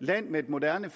land med et moderne